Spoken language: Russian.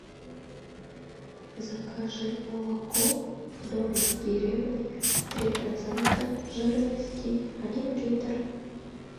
закажи молоко домик в деревне три процента жирности один литр